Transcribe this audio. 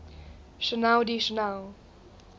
channel d channel